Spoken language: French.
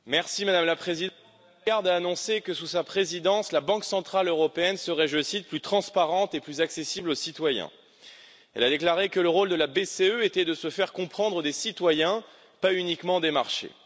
Madame la Présidente, Mme Lagarde a annoncé que, sous sa présidence, la Banque centrale européenne serait, je cite, plus transparente et plus accessible aux citoyens. Elle a déclaré que le rôle de la BCE était de se faire comprendre des citoyens, pas uniquement des marchés.